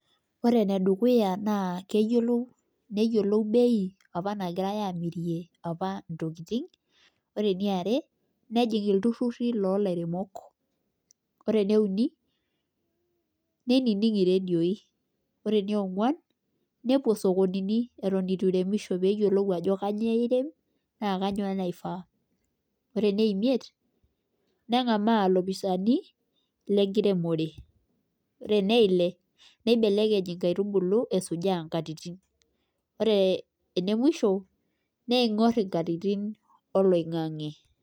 Ore ene dukuya naa keyiolou neyiolou, bei apa nagirae aamirie ntokitin, ore eniare, nejing, iltururi loolaieemok. ore ene uni, neinining iredioi. ore enionguan, nepuo sokonini, Eton eitu iremisho pee eyiolou ajo kainyioo irem, naa kainyioo naifaa. ore ene imiet nengamaa ilopisaani lenkiremore. ore ene ile. nibelekeny inkaitubulu, nkatitin. ore ene musho niengor inkatitin oloingang'e.